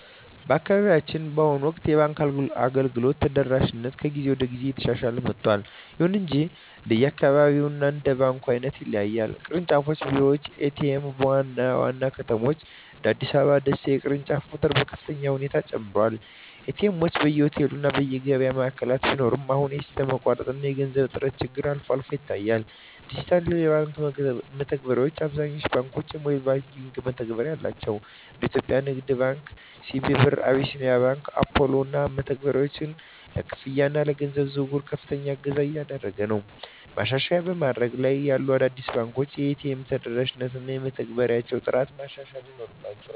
በአካባቢያችን በአሁኑ ወቅት የባንክ አገልግሎት ተደራሽነት ከጊዜ ወደ ጊዜ እየተሻሻለ መጥቷል። ይሁን እንጂ እንደየአካባቢው እና እንደ ባንኩ ዓይነት ይለያያል። ቅርንጫፍ ቢሮዎች እና ኤ.ቲ.ኤም (ATM): በዋና ዋና ከተሞች (እንደ አዲስ አበባ እና ደሴ) የቅርንጫፎች ቁጥር በከፍተኛ ሁኔታ ጨምሯል። ኤ.ቲ. ኤምዎች በየሆቴሉ እና የገበያ ማዕከላት ቢኖሩም፣ አሁንም የሲስተም መቋረጥ እና የገንዘብ እጥረት ችግሮች አልፎ አልፎ ይታያሉ። ዲጂታል የባንክ መተግበሪያዎች: አብዛኞቹ ባንኮች የሞባይል መተግበሪያ አላቸው። እንደ የኢትዮጵያ ንግድ ባንክ (CBE Birr) እና አቢሲኒያ ባንክ (Apollo) ያሉ መተግበሪያዎች ለክፍያ እና ለገንዘብ ዝውውር ከፍተኛ እገዛ እያደረጉ ነው። ማሻሻያ በማደግ ላይ ያሉ አዳዲስ ባንኮች የኤ.ቲ.ኤም ተደራሽነታቸውን እና የመተግበሪያዎቻቸውን ጥራት ማሻሻል ይኖርባ